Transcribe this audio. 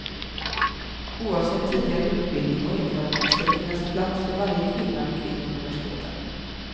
Oavsett tidigare utbildning och erfarenhet ska det finnas plats för varje kvinna vid kvinnouniversiteten.